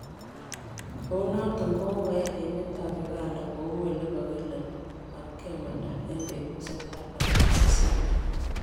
Kounoton kogogoyai emet ab Uganda koulekogokile matkemanda en betusiek artam ak sisiit.